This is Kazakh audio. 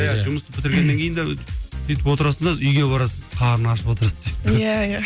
иә жұмыс бітіргеннен кейін де сөйтіп отырасың да үйге барасың қарның ашып отырады сөйтіп иә иә